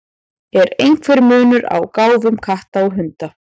Er einhver munur á gáfum katta og hunda?